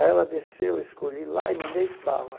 Aí ela desceu, eu escolhi lá e mandei bala.